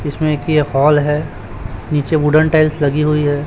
इसमें की एक हॉल है नीचे वुडन टाइल्स लगी हुई है।